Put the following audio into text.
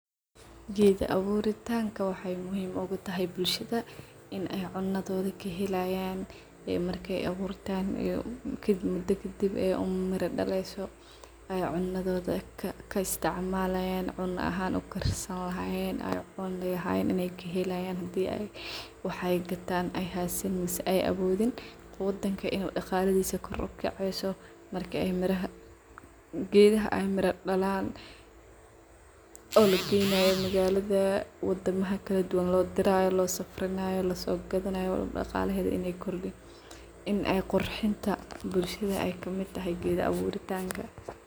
Geed abuurtinka waxay muhiim ugatahay bulshada in aay cunadhodhi kahelayan ee marki ay abuurtan geed geedkadanba aay umari daleeyso cunadhodhi ay kaa isticmalayan cuna aahan uu kaar sani lahayeen aay cuni lahayeen inay kahelayan hadii ay waxay gadtaan ay hasiani wayse ay awoodin. Wadanka inoo dagalithisa koor ukaceyso marka ay miraha geedhaha aay mira dalaan oo lagenayo magaladha wadamaha kaladuwaan loodirayo loo safarinayo laso gagadhanayo dagalahedha inay kordiin in ay qurxinta bulshada ay kamitahay geedha aworitanka.